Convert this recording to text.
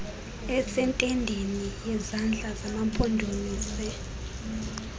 esentendeni yezandla zamampondomise